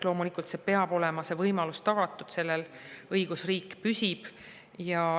Loomulikult peab see võimalus olema tagatud, sellel õigusriik püsib.